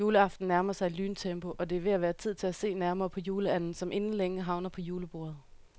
Juleaften nærmer sig i lyntempo, og det er ved at være tid til at se nærmere på juleanden, som inden længe havner på julebordet.